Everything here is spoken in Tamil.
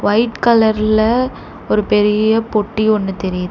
ஒய்ட் கலர்ல ஒரு பெரீய பொட்டி ஒன்னு தெரியுது.